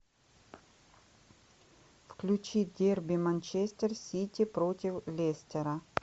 включи дерби манчестер сити против лестера